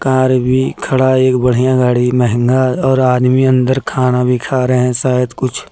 RB खड़ा एक बढ़िया गाड़ी महंगा और आदमी अंदर खाना भी खा रहे हैं शायद कुछ--